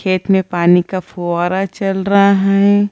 खेत में पानी का फुव्वारा चल रहा हैं।